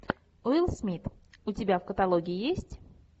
уилл смит у тебя в каталоге есть